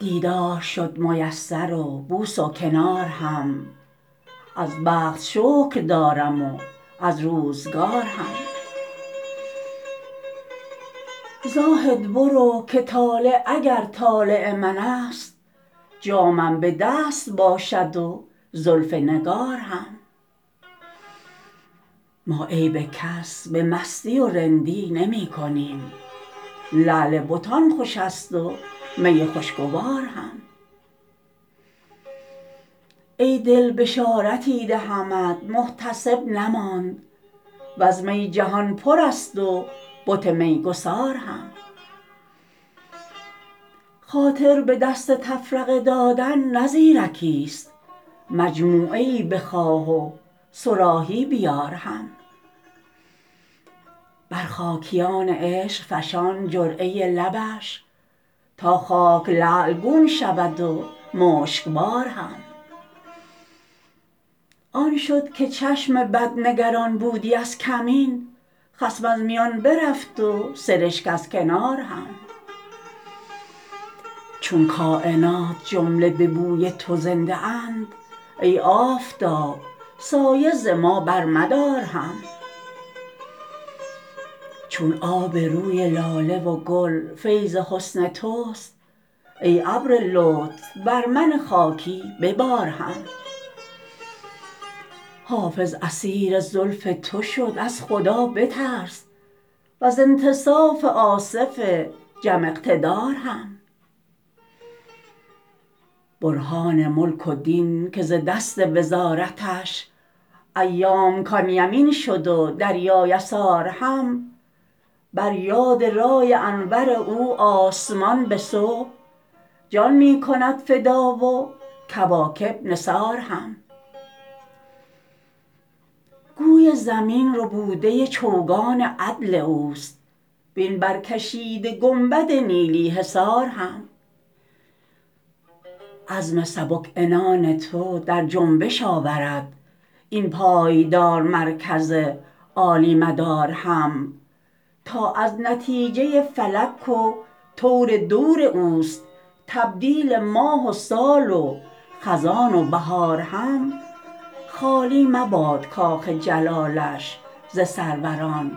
دیدار شد میسر و بوس و کنار هم از بخت شکر دارم و از روزگار هم زاهد برو که طالع اگر طالع من است جامم به دست باشد و زلف نگار هم ما عیب کس به مستی و رندی نمی کنیم لعل بتان خوش است و می خوشگوار هم ای دل بشارتی دهمت محتسب نماند و از می جهان پر است و بت میگسار هم خاطر به دست تفرقه دادن نه زیرکیست مجموعه ای بخواه و صراحی بیار هم بر خاکیان عشق فشان جرعه لبش تا خاک لعل گون شود و مشکبار هم آن شد که چشم بد نگران بودی از کمین خصم از میان برفت و سرشک از کنار هم چون کاینات جمله به بوی تو زنده اند ای آفتاب سایه ز ما برمدار هم چون آب روی لاله و گل فیض حسن توست ای ابر لطف بر من خاکی ببار هم حافظ اسیر زلف تو شد از خدا بترس و از انتصاف آصف جم اقتدار هم برهان ملک و دین که ز دست وزارتش ایام کان یمین شد و دریا یسار هم بر یاد رای انور او آسمان به صبح جان می کند فدا و کواکب نثار هم گوی زمین ربوده چوگان عدل اوست وین برکشیده گنبد نیلی حصار هم عزم سبک عنان تو در جنبش آورد این پایدار مرکز عالی مدار هم تا از نتیجه فلک و طور دور اوست تبدیل ماه و سال و خزان و بهار هم خالی مباد کاخ جلالش ز سروران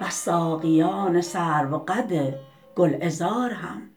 و از ساقیان سروقد گلعذار هم